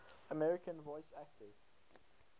american voice actors